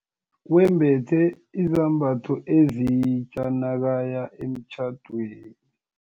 Wembethe izambatho ezitja nakaya emtjhadweni.